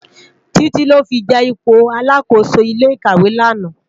Titi lò fi je ipó àlákósó ilé ikáwé làná